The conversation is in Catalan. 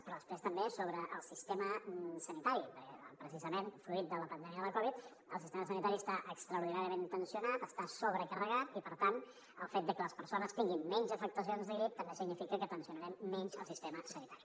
però després també sobre el sistema sanitari perquè precisament fruit de la pandèmia de la covid el sistema sanitari està extraordinàriament tensionat està sobrecarregat i per tant el fet de que les persones tinguin menys afectacions de grip també significa que tensionarem menys el sistema sanitari